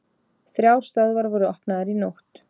Þrjár stöðvar voru opnaðar í nótt